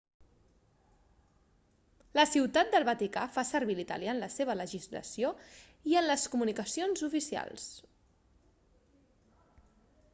la ciutat del vaticà fa servir l'italià en la seva legislació i en les comunicacions oficials